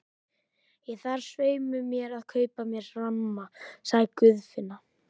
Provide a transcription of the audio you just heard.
Ég þarf svei mér að kaupa mér ramma, sagði Guðfinna.